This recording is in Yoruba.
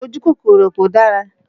Ojú kòkòrò kò dára